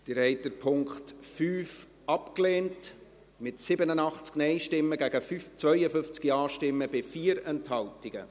Sie haben den Punkt 5 abgelehnt, mit 87 Nein- zu 52 Ja-Stimmen bei 4 Enthaltungen.